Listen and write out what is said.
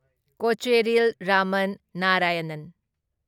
Kocheril Raman Narayanan